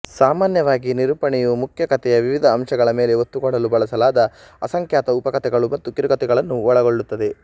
ಸಾಮಾನ್ಯವಾಗಿ ನಿರೂಪಣೆಯು ಮುಖ್ಯ ಕಥೆಯ ವಿವಿಧ ಅಂಶಗಳ ಮೇಲೆ ಒತ್ತುಕೊಡಲು ಬಳಸಲಾದ ಅಸಂಖ್ಯಾತ ಉಪಕಥೆಗಳು ಮತ್ತು ಕಿರುಕತೆಗಳನ್ನು ಒಳಗೊಳ್ಳುತ್ತದೆ